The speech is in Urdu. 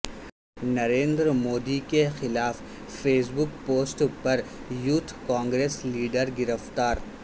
نریندر مودی کے خلاف فیس بک پوسٹ پر یوتھ کانگریس لیڈر گرفتار